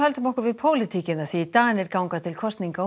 Danir ganga til kosninga á